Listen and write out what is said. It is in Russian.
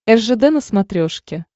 ржд на смотрешке